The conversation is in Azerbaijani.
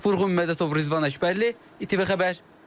Vurğun Mədətov, Rizvan Əkbərli, ATV Xəbər.